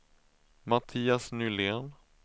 Mattias Nylén